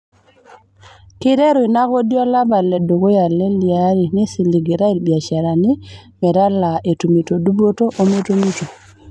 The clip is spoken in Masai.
Keiteru inakodi olapa le dukuya le leari neisiligitay ibiasharani metaalaa, etumito dupoto ometumito.